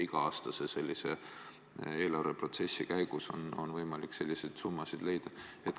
Iga-aastase eelarveprotsessi käigus on võimalik selliseid summasid leida.